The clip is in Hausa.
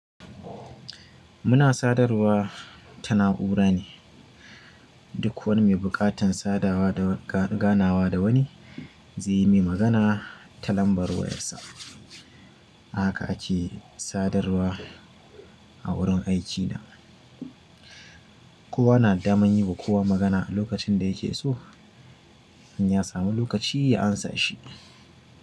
Muna sadarwa ta na'ura ne. Duk wani mai buƙatan sadawa da ga-ganawa da wani zai yi min magana ta lambar wayarsa. Haka ake sadarwa a wurin aikina. Kowa na dama yin wa kowa magana lokacin da yake so in ya samu lokaci ya amsa shi.